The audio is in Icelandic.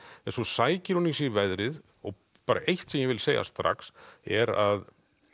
en svo sækir hún í sig veðrið og bara eitt sem ég vil segja strax er að